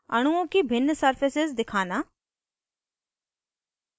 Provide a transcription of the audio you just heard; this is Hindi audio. अणुओं की भिन्न surfaces दिखाना